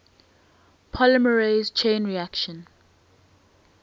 polymerase chain reaction